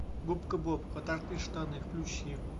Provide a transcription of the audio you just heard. губка боб квадратные штаны включи